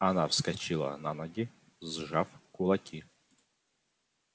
она вскочила на ноги сжав кулаки